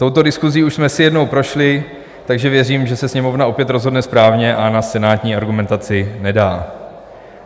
Touto diskusí už jsme si jednou prošli, takže věřím, že se Sněmovna opět rozhodne správně a na senátní argumentaci nedá.